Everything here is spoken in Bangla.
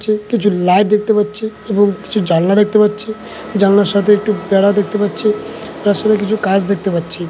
কিছু লাইট দেখতে পাচ্ছি এবং কিছু জানলা দেখতে পাচ্ছি জানলার সাথে একটু বেড়া দেখতে পাচ্ছি তার সাথে কিছু কাঁচ দেখতে পাচ্ছি ।